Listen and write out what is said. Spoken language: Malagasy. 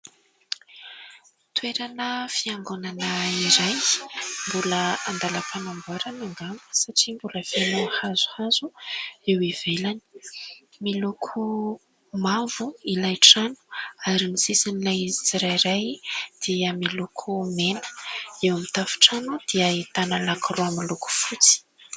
Toerana fiangonana iray mbola andalam-panamboarana angamba satria mbola feno hazohazo eo ivelany, miloko mavo ilay trano ary ny sisin'ilay izy tsirairay dia miloko mena, eo amin'ny tafontrano dia ahitana lakoroa miloko fotsy.